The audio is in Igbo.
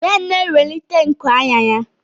Ben na-ewelite nku anya ya.